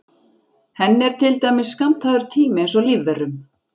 Henni er til dæmis skammtaður tími eins og lífverum.